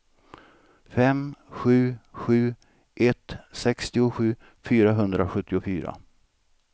fem sju sju ett sextiosju fyrahundrasjuttiofyra